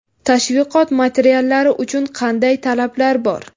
Tashviqot materiallari uchun qanday talablar bor?